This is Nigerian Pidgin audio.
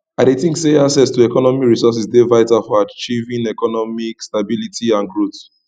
i dey think say access to economic resources dey vital for achieving economic stability and growth